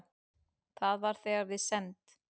Það var þegar við send